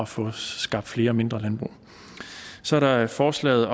få skabt flere mindre landbrug så er der forslaget